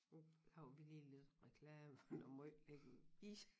Nu laver vi lige lidt reklame for noget måj lækker is